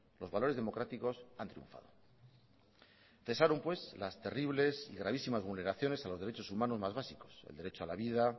los valores democráticos han triunfado cesaron pues las terribles y gravísimas vulneraciones a los derechos humanos más básicos el derecho a la vida